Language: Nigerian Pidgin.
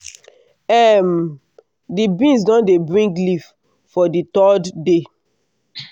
um di beans don dey bring leaf for di third day.